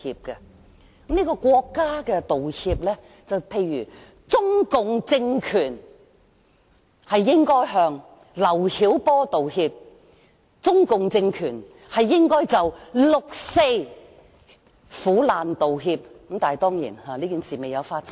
舉例而言，由國家作出的道歉，可以是中共政權向劉曉波道歉及就六四苦難道歉等——但當然，此等事情並未發生。